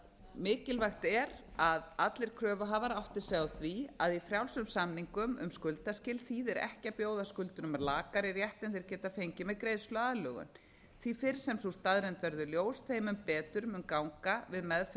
mikilvægt er að allir kröfuhafar átti sig á því að í frjálsum samningum um skuldaskyldu þýðir ekki að bjóða skuldurum með lakari rétt en þeir geta fengið með greiðsluaðlögun því fyrr sem sú staðreynd verður ljós þeim mun betur mun ganga við meðferð